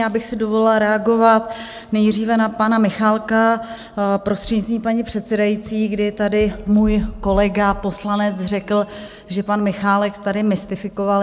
Já bych si dovolila reagovat nejdříve na pana Michálka, prostřednictvím paní předsedající, kdy tady můj kolega poslanec řekl, že pan Michálek tady mystifikoval.